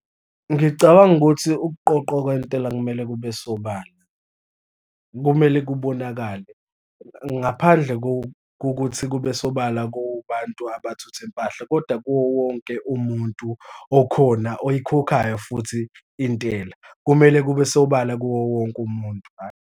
Ngicabanga ukuthi ukuqoqwa kwentela kumele kube sobala, kumele kubonakale ngaphandle kokuthi kube sobala kubantu abathutha impahla, kodwa kuwo wonke umuntu okhona oyikhokhayo futhi intela, kumele kube sobala kuwo wonke umuntu, hhayi.